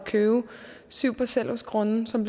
købe syv parcelhusgrunde som